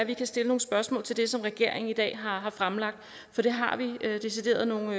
vi kan stille nogle spørgsmål til det som regeringen i dag har fremlagt for det har vi decideret nogle